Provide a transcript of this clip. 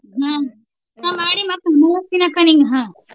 ಹ್ಮ ನಾ ಮಾಡಿ ಮತ್ತ .